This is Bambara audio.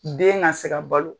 Den na se ka balo.